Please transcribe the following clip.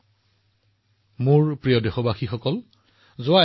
আগতে এটা ধাৰণা আছিল যে সেনা আৰু আৰক্ষী সেৱা কেৱল পুৰুষৰ বাবে